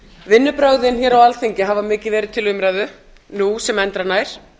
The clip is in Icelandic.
vinnubrögðin á alþingi hafa mikið verið til umræðu nú sem endranær